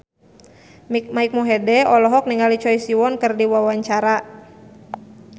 Mike Mohede olohok ningali Choi Siwon keur diwawancara